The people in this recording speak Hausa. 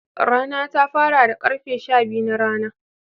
Rana ta fara da karfe Shabiyu na rana.